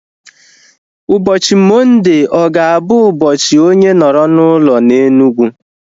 Ụbọchị Mọnde ọ ga-abụ ụbọchị onye nọrọ n'ụlọ na Enugu?